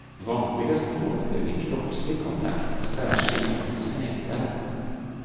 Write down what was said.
Vanligast får man det vid kroppslig kontakt, särskilt i sängvärme.